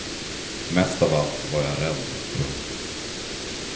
Mest av allt var jag rädd. punkt